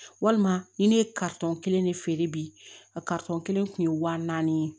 Walima ni ne ye kelen de feere bi a kelen kun ye wa naani ye